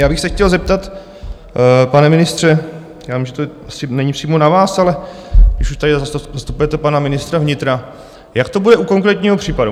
Já bych se chtěl zeptat, pane ministře - já vím, že to asi není přímo na vás, ale když už tady zastupujete pana ministra vnitra - jak to bude u konkrétního případu.